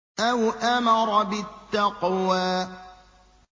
أَوْ أَمَرَ بِالتَّقْوَىٰ